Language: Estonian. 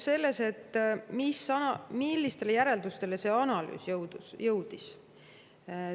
Millistele järeldustele see analüüs jõudis?